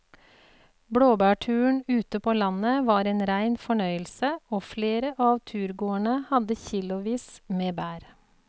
Blåbærturen ute på landet var en rein fornøyelse og flere av turgåerene hadde kilosvis med bær.